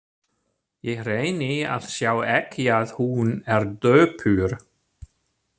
Ég reyni að sjá ekki að hún er döpur.